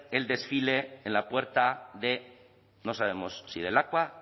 el desfile en la puerta de no sabemos si de lakua